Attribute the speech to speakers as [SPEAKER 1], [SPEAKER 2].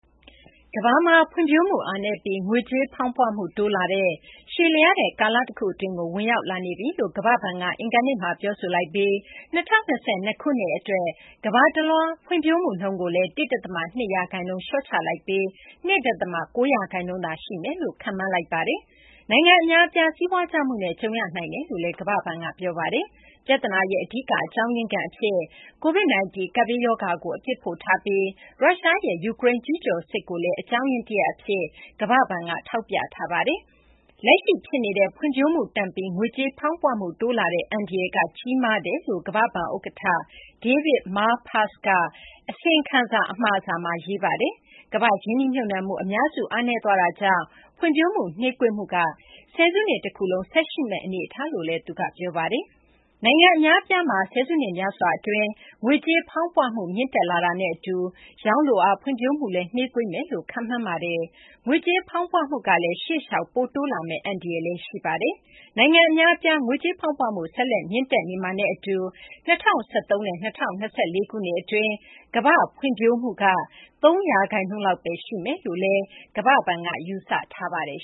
[SPEAKER 1] ကမ ္ဘာမှာ ဖွံ့ဖြိုးမှု အားနည်းပြီး ငွေကြေးဖောင်းပွမှု တိုးလာတဲ့ ရှည်လျားတဲ့ ကာလတခု အတွင်းကို ဝင်ရောက်လာနေပြီလို့ ကမ ္ဘာ့ဘဏ်က အင်္ဂါနေ့မှာ ပြောဆိုလိုက်ပြီး ၂၀၂၂ ခုနှစ် အတွက် ကမ ္ဘာတလွှား ဖွံ့ဖြိုးမှုနှုန်းကိုလည်း ၁ ဒသမ ၂ ရာခိုင်နှုန်း လျှော့ချလိုက်ပြီး ၂ ဒသမ ၉ ရာခိုင်နှုန်းသာရှိမယ်လို့ ခန့်မှန်းထားပါတယ်။ နိုင်ငံ အများအပြား စီးပွားကျမှုနဲ့ ကြုံရနိုင်တယ်လို့လည်း ကမ ္ဘာ့ဘဏ်က ပြောဆိုထားပါတယ်။ ပြဿနာရဲ့ အဓိက အကြောင်းရင်းခံ အဖြစ် Covid-19 ကပ်ဘေးရောဂါကို အပြစ်ဖို့ထားပြီး ရုရှားရဲ့ ယူကရိန်း ကျူးကျော်စစ်ကိုလည်း အကြောင်းရင်း တရပ် အဖြစ် ကမ ္ဘာ့ဘဏ်က ထောက်ပြထားပါတယ်။ လက်ရှိ ဖြစ်နေတဲ့ ဖွံ့ဖြိုးမှုတန့်ပြီး ငွေကြေးဖောင်းပွမှု တိုးလာတဲ့ အန္တရာယ်က ကြီးမားတယ်လို့ ကမ ္ဘာ့ဘဏ် ဥက္ကဌ David Malpass က အစီရင်ခံစာ အမှာစာမှာ ရေးသားထားပါတယ်။ ကမ ္ဘာ့ ရင်းနှီးမြှုပ်နှံမှု အများစုက အားနည်းသွားတာကြောင့် ဖွံ့ဖြိုးမှုနှေးကွေးမှုက ဆယ်စုနှစ် တခုလုံး ဆက်ရှိနေမယ့် အနေအထား ရှိကြောင်းလည်း သူက ပြောပါတယ်။ နိုင်ငံ အများအပြားမှာ ဆယ်စုနှစ်များစွာ အတွင်း ငွေကြေးဖောင်းပွမှု မြင့်တက်လာတာနဲ့ အတူ ရောင်းလိုအား ဖွံ့ဖြိုးမှုကလည်း နှေးကွေးလာမယ်လို့လည်း ခန့်မှန်းထားပါတယ်။ ငွေကြေးဖောင်းပွမှုကလည်း ရှေ့လျှောက် ပိုတိုးလာမယ့် အန္တရာယ်လည်း ရှိနေပါတယ်။ နိုင်ငံ အများအပြားမှာ ငွေကြေးဖောင်းပွမှု ဆက်လက် မြင့်တက်နေမှာနဲ့ အတူ ၂၀၂၃ နဲ့ ၂၀၂၄ ခုနှစ် အတွင်း ကမ ္ဘာ့ဖွံ့ဖြိုးမှုက ၃ ရာခိုင်နှုန်းလောက်မှာဘဲ ရှိလိမ့်မယ်လို့လည်း World Bank က ယူဆထားပါတယ်